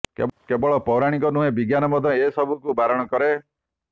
କେବଳ ପୌରାଣିକ ନୁହେଁ ବିଜ୍ଞାନ ମଧ୍ୟ ଏସବୁକୁ ବାରଣ କରେ